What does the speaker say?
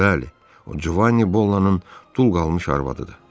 Bəli, o Cuvan Bolanın dul qalmış arvadıdır.